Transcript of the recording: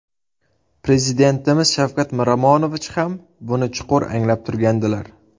Prezidentimiz Shavkat Miromonovich ham buni chuqur anglab turgandilar.